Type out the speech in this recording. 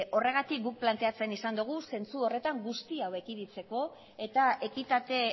horregatik guk planteatzen izan dugu zentzu horretan guztia ekiditzeko eta ekitate